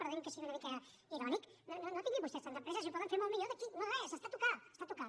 perdonin que sigui una mica irònic no tinguin vostès tanta pressa si ho poden fer molt millor d’aquí a no res està a tocar està a tocar